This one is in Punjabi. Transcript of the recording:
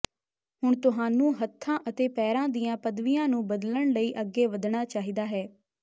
ਹੁਣ ਤੁਹਾਨੂੰ ਹੱਥਾਂ ਅਤੇ ਪੈਰਾਂ ਦੀਆਂ ਪਦਵੀਆਂ ਨੂੰ ਬਦਲਣ ਲਈ ਅੱਗੇ ਵਧਣਾ ਚਾਹੀਦਾ ਹੈ